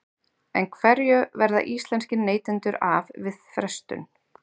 En hverju verða íslenskir neytendur af við frestun?